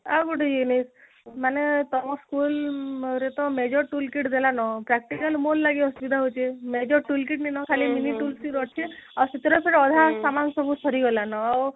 ଆଉ ଗୋଟେ ଇଏ ନାଇଁ ମାନେ ତମ school ରେ ଟା major tool kit ଦେଲା ନ practical ଲାଗି ଅସୁବିଧା ହଉଛି major tool kit ମିଲିନ ଖାଲି mini tool kit ଅଛି ଆଉ ସେଥିରେ ସବୁ ଅଧା ସାମାନ ସବୁ ସରିଗଲାନ